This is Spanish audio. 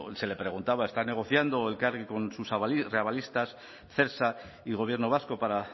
se le preguntaba está negociando elkargi con sus reavalistas celsa y gobierno vasco para